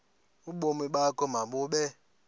ubomi bakho mabube